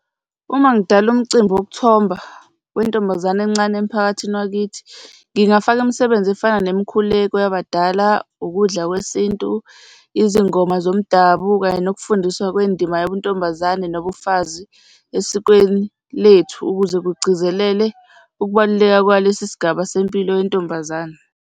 Uma ngidala umcimbi wokuthomba wentombazane encane emphakathini wakithi, ngingafaka imisebenzi efana nemikhuleko yabadala, ukudla kwesintu, izingoma zomdabu, kanye nokufundiswa kwendima yobuntombazane nobufazi esikweni lethu ukuze kugcizelele ukubaluleka kwalesi sigaba sempilo yentombazane.